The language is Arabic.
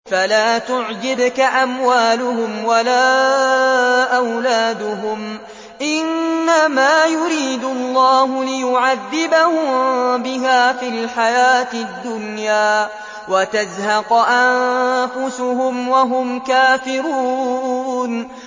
فَلَا تُعْجِبْكَ أَمْوَالُهُمْ وَلَا أَوْلَادُهُمْ ۚ إِنَّمَا يُرِيدُ اللَّهُ لِيُعَذِّبَهُم بِهَا فِي الْحَيَاةِ الدُّنْيَا وَتَزْهَقَ أَنفُسُهُمْ وَهُمْ كَافِرُونَ